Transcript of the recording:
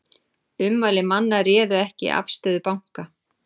Ummæli manna réðu ekki afstöðu banka